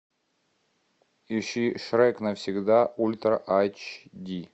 ищи шрек навсегда ультра айч ди